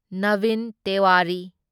Navin Tewari